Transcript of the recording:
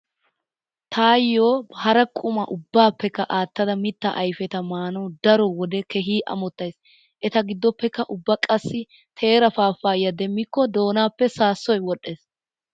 Taayyo hara quma ubbaappekka aattada mittaa ayfeta maanawu daro wode keehi amottays. Eta giddoppekka ubba qassi taara paappayiya demmikko doonaappe saassoy wodhdhees.